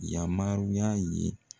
Yamaruya ye